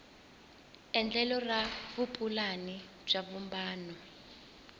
endlelo ra vupulani bya vumbano